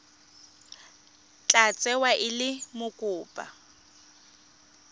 tla tsewa e le mokopa